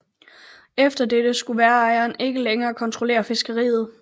Efter dette skulle værejerne ikke længere kontrollere fiskeriet